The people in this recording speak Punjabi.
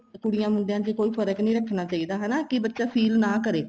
ਕੁੜੀਆਂ ਮੁੰਡਿਆਂ ਚ ਕੋਈ ਫ਼ਰਕ ਨੀ ਰੱਖਣਾ ਚਾਹੀਦਾ ਹਨਾ ਕੀ ਬੱਚਾ feel ਨਾ ਕਰੇ